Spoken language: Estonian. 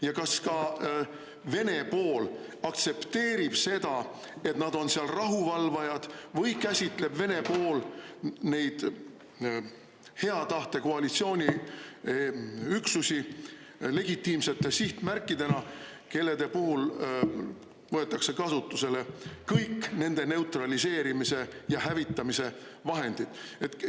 Ja kas ka Vene pool aktsepteerib seda, et nad on seal rahuvalvajad, või käsitleb Vene pool neid hea tahte koalitsiooni üksusi legitiimsete sihtmärkidena, kellede puhul võetakse kasutusele kõik nende neutraliseerimise ja hävitamise vahendid?